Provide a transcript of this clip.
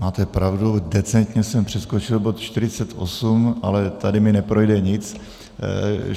Máte pravdu, decentně jsem přeskočil bod 48, ale tady mi neprojde nic.